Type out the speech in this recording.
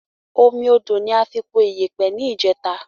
Omi odò ni a fi po iyèpè ni ìjèta